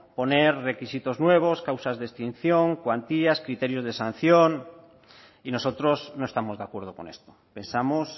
poner requisitos nuevos causas de extinción cuantías criterios de sanción y nosotros no estamos de acuerdo con esto pensamos